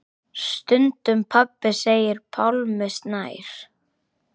Stundum pabbi segir Pálmi Snær.